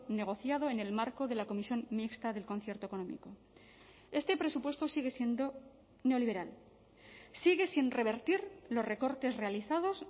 negociado en el marco de la comisión mixta del concierto económico este presupuesto sigue siendo neoliberal sigue sin revertir los recortes realizados